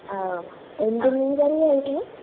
എന്ത് മീൻകറിയായിരുന്നു